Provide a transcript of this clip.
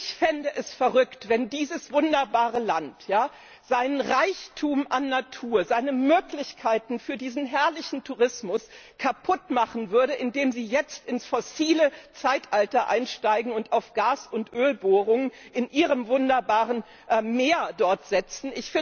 Ich fände es verrückt, wenn dieses wunderbare Land seinen Reichtum an Natur, seine Möglichkeiten für diesen herrlichen Tourismus kaputt machen würde, indem Sie jetzt ins fossile Zeitalter einsteigen und auf Gas und Ölbohrungen dort in Ihrem wunderbaren Meer setzen.